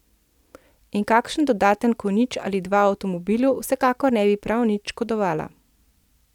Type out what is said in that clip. In kakšen dodaten konjič ali dva avtomobilu vsekakor ne bi prav nič škodovala.